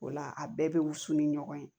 O la a bɛɛ bɛ wusu ni ɲɔgɔn ye